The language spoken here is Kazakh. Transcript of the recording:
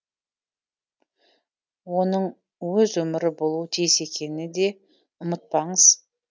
оның өз өмірі болуы тиіс екеніне де ұмытпаңыз